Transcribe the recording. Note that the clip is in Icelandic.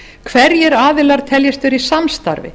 hverjir aðilar telji að vera í samstarfi